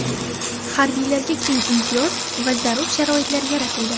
Harbiylarga keng imtiyoz va zarur sharoitlar yaratildi.